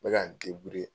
N bɛ ka n